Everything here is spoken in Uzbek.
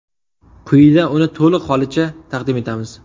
Quyida uni to‘liq holicha taqdim etamiz.